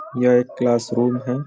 यह एक क्लासरूम है। .